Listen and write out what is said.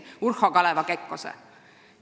See oli Urho Kaleva Kekkonen.